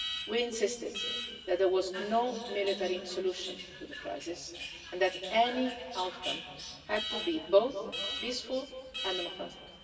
We insisted that there was no military solution to the crisis and that any outcome had to be both peaceful and democratic.